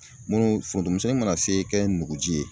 Munnu foronto misɛnnin mana se kɛ nuguji ye